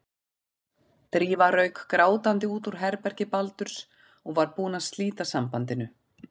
Drífa rauk grátandi út úr herbergi Baldurs og var búin að slíta sambandinu.